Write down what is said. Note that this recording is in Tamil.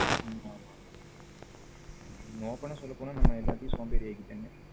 ஆமா ஆமா open ஆ சொல்ல போன நம்ம எல்லாத்தையும் சோம்பேறிய ஆகிட்டாங்க.